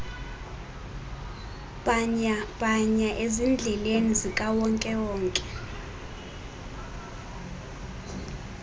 bhanyabhanya ezindleleni zikawonkewonke